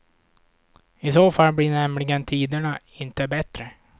I så fall blir nämligen tiderna inte bättre.